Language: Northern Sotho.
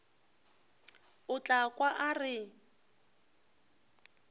o tla kwa a re